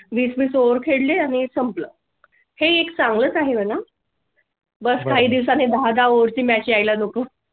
वीस वीस over खेळले आणि संपलं हे एक चांगलं आहे मला . बस काही दिवसांनी दहा दहा over ची match येयाला नको